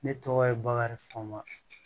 Ne tɔgɔ ye bakari faama